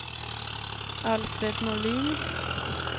Alfred Norlin